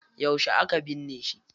Yauce aka binne shi?